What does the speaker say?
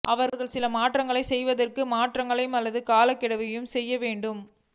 அவர்கள் சில மாற்றங்களைச் செய்வதற்கு மாற்றங்களை அல்லது காலக்கெடுவை செய்ய வேண்டும்